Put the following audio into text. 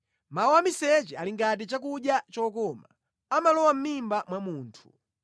Mawu a miseche ali ngati chakudya chokoma; amalowa mʼmimba mwa munthu.